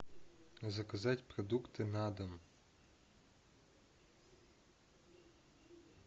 заказать продукты на дом